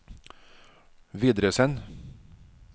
videresend